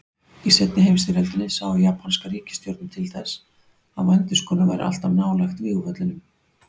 Í seinni heimsstyrjöldinni sá japanska ríkisstjórnin til þess að vændiskonur væru alltaf nálægt vígvöllunum.